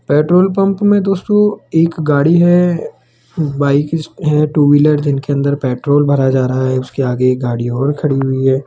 Petrol pump में दोस्तों एक गाड़ी है बाइक है टू व्हीलर जिनके अंदर पेट्रोल भरा जा रहा है उसके आगे एक गाड़ी और खड़ी हुई है।